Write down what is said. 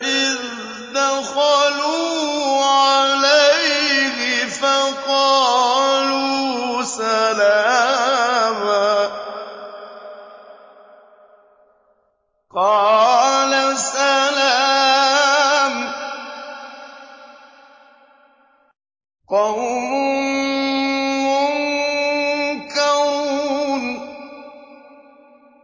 إِذْ دَخَلُوا عَلَيْهِ فَقَالُوا سَلَامًا ۖ قَالَ سَلَامٌ قَوْمٌ مُّنكَرُونَ